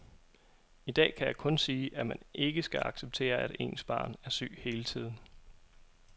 I dag kan jeg kun sige, at man ikke skal acceptere, at ens barn er syg hele tiden.